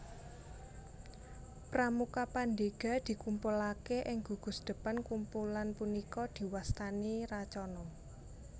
Pramuka Pandega dikumpulake ing gugusdepan kumpulan punika diwastani Racana